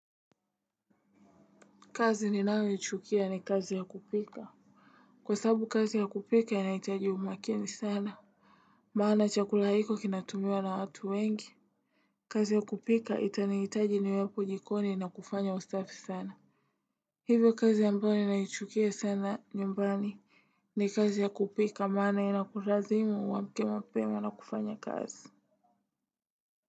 Kazi ninayoichukia ni kazi ya kupika. Kwa sabu kazi ya kupika inahitaji umakini sana. Maana chakula hiko kinatumiwa na watu wengi. Kazi ya kupika itaniitaji niwepo jikoni na kufanya usafi sana. Hivyo kazi ambayo naichukia sana nyumbani ni kazi ya kupika maana inakulazimu uamke mapema na kufanya kazi.